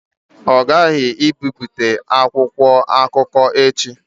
Ọ ghaghị ibipụta akwụkwọ akụkọ echi!